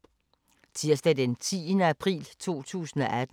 Tirsdag d. 10. april 2018